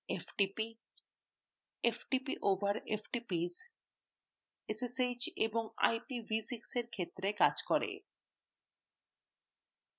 ftp ftp over ftps ssh and ipv6 এর ক্ষেত্রে কাজ করে